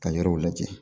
Ka yɔrɔw lajɛ